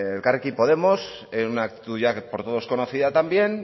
elkarrekin podemos en una actitud ya por todos conocida también